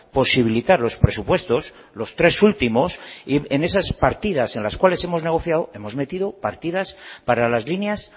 posibilitar los presupuestos los tres últimos en esas partidas en las cuales hemos negociado hemos metido partidas para las líneas